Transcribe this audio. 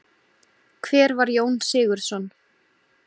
Hver var Jón Sigurðsson?